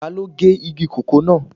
Taló gé igi kòkó náà